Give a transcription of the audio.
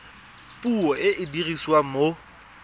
puo e e dirisiwang mo